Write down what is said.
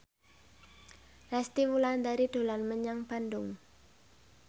Resty Wulandari dolan menyang Bandung